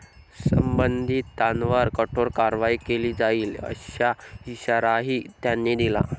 संबंधितांवर कठोर कारवाई केली जाईल असा इशाराही त्यांनी दिला.